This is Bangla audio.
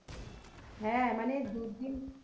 হ্যাঁ মানে দু দিন,